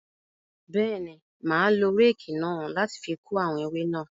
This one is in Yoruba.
Bẹẹni, ma lo réèkì náà láti ko awọn ewe náà